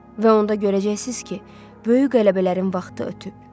Və onda görəcəksiniz ki, böyük qələbələrin vaxtı ötüb.